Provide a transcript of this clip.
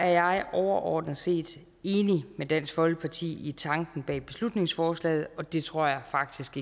jeg overordnet set enig med dansk folkeparti i tanken bag beslutningsforslaget og det tror jeg faktisk